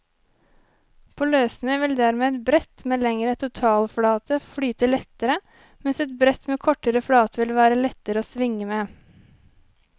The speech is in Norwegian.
På løssnø vil dermed et brett med lengre totalflate flyte lettere, mens et brett med kortere flate vil være lettere å svinge med.